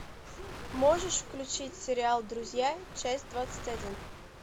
можешь включить сериал друзья часть двадцать один